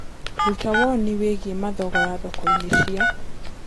rũta woni wĩĩgĩe Mathogora thoko-inī cia cīa